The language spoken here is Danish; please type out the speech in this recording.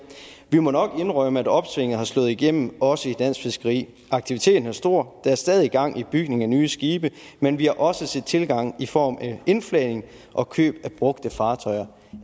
vi må nok indrømme at opsvinget har slået igennem også i dansk fiskeri aktiviteten er stor der er stadig gang i bygning af nye skibe men vi har også set tilgang i form af indflagning og køb af brugte fartøjer